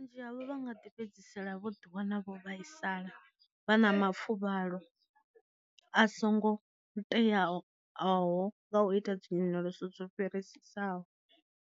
Vhunzhi havho vha nga ḓi fhedzisela vho ḓi wana vho vhaisala, vha na mafuvhalo a songo teaho aho nga u ita dzi nyonyoloso dzo fhirisesaho.